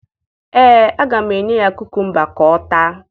Ee, aga m enye ya kukumba ka ọ taa